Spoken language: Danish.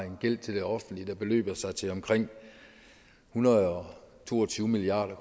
en gæld til det offentlige der beløber sig til omkring en hundrede og to og tyve milliard